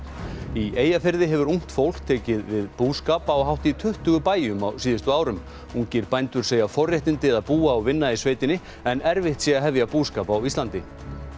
í Eyjafirði hefur ungt fólk tekið við búskap á hátt í tuttugu bæjum á síðustu árum ungir bændur segja forréttindi að búa og vinna í sveitinni en erfitt sé að hefja búskap á Íslandi